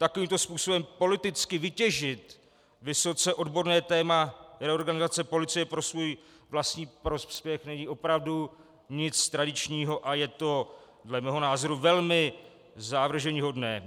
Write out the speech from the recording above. Takovýmto způsobem politicky vytěžit vysoce odborné téma reorganizace policie pro svůj vlastní prospěch není opravdu nic tradičního a je to dle mého názoru velmi zavrženíhodné.